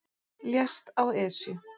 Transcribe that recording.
Lést á Esju